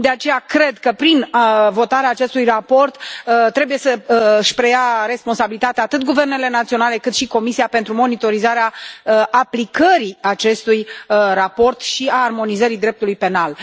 De aceea, cred că, prin votarea acestui raport, trebuie să își preia responsabilitatea atât guvernele naționale, cât și Comisia pentru monitorizarea aplicării acestui raport și a armonizării dreptului penal.